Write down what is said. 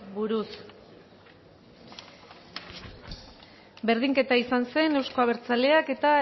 buruz berdinketa izan zen euzko abertzaleak eta